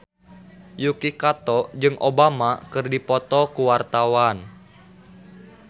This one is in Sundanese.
Yuki Kato jeung Obama keur dipoto ku wartawan